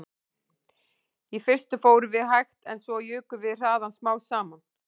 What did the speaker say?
Í fyrstu fórum við hægt en svo jukum við hraðann smám saman